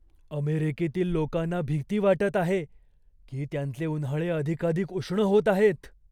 अमेरिकेतील लोकांना भीती वाटत आहे की त्यांचे उन्हाळे अधिकाधिक उष्ण होत आहेत.